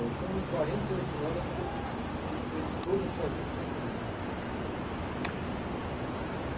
Então, em quarenta e oito horas, você desfez toda a sua vida e foi para o Rio?